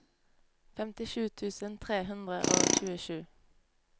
femtisju tusen tre hundre og tjuesju